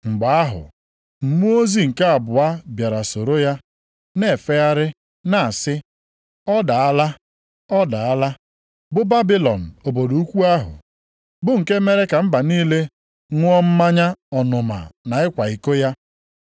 Mgbe ahụ mmụọ ozi nke abụọ bịara soro ya, na-efegharị na-asị, “ ‘Ọ daala! Ọ daala, bụ Babilọn obodo ukwu ahụ,’ + 14:8 \+xt Aịz 21:9\+xt* bụ nke mere ka mba niile ṅụọ mmanya ọnụma nke ịkwa iko ya.”